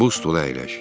Bu stula əyləş.